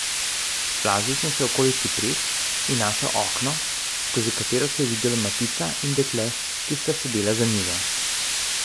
Splazil sem se okoli cipres in našel okno, skozi katero se je videlo Matica in dekle, ki sta sedela za mizo.